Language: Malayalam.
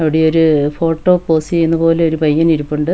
അവിടെ ഒരു ഫോട്ടോ പോസ്റ്റ് ചെയ്യുന്ന പോലെ ഒരു പയ്യൻ ഇരിപ്പുണ്ട്.